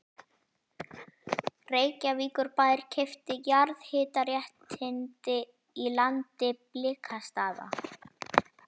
Reykjavíkurbær keypti jarðhitaréttindi í landi Blikastaða.